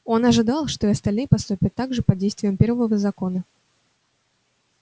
он ожидал что и остальные поступят так же под действием первого закона